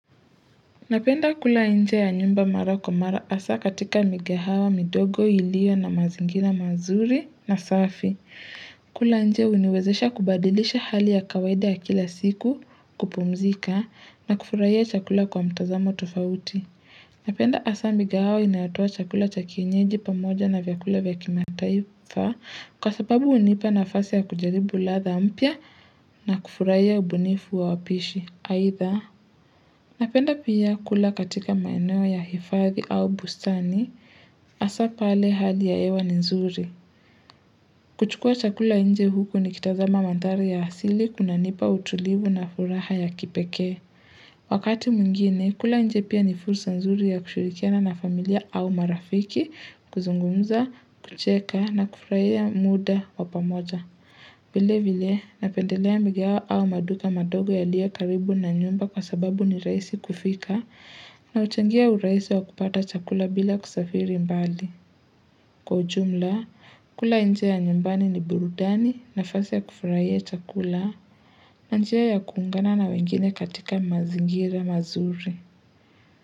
Napenda kula nje ya nyumba mara kwa mara hasa katika mikahawa, midogo, iliyo na mazingira mazuri na safi. Kula nje huniwezesha kubadilisha hali ya kawaida ya kila siku kupumzika na kufurahia chakula kwa mtazamo tofauti. Napenda hasa mikahawa inayotoa chakula cha kienyeji pamoja na vyakula vya kimataifa kwa sababu hunipa nafasi ya kujaribu ladha mpya na kufurahia ubunifu wa wapishi. Aidha, napenda pia kula katika maeneo ya hifadhi au bustani, hasa pale hali ya hewa ni nzuri. Kuchukua chakula nje huku nikitazama mandhari ya asili kunanipa utulivu na furaha ya kipekee. Wakati mwingine, kula nje pia ni fursa nzuri ya kushirikiana na familia au marafiki, kuzungumza, kucheka na kufurahia muda wa pamoja. Vile vile napendelea mikahawa au maduka madogo yaliyo karibu na nyumba kwa sababu ni rahisi kufika na huchangia urahisi wa kupata chakula bila kusafiri mbali. Kwa ujumla, kula nje ya nyumbani ni burudani nafasi ya kufurahia chakula na njia ya kuungana na wengine katika mazingira mazuri.